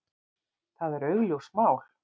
Það er augljóst mál.